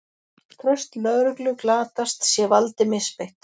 Traust lögreglu glatast sé valdi misbeitt